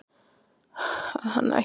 að hann ætti að fá